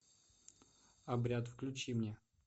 обряд включи мне